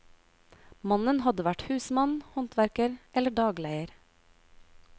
Mannen hadde vært husmann, håndverker eller dagleier.